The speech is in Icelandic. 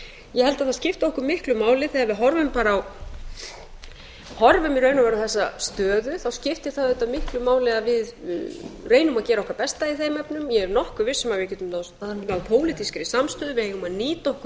ég held að það skipti okkar miklu máli þegar við horfum í raun og veru á þessa stöðu þá skipti það auðvitað miklu máli að við reynum að gera okkar besta í þeim efnum ég er nokkuð viss um að við getum náð pólitískri samstöðu við eigum að nýta okkur